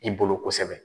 I bolo kosɛbɛ